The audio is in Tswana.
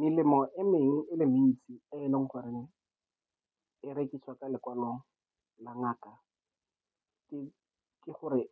Melemo e mengwe e le mentsi, e e leng gore e rekisiwa ka lekwalo la ngaka ke gore